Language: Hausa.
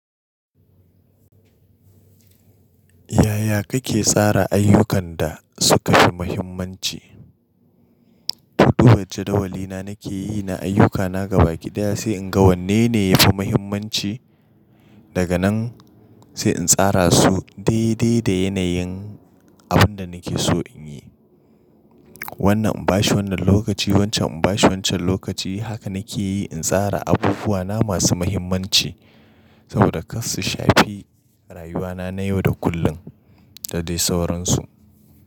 Yaya kake tsara ayyukan da suka fi muhimmanci? To duba jadawali na nake yi na ayyukana gabaki ɗaya, sai in ga wanne ne yafi mahimmanci. Daga nan sai in tsara su daidai da yanayin abin da nake so in yi. Wannan in bashi wannan lokaci, wancan in bashi wancan lokaci. Haka nake yi in tsara abubuwana masu mahimmanci, saboda kar su shafi rayuwana na yau da kullun, da dai sauransu.